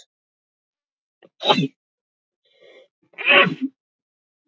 Angelíka, hvenær kemur nían?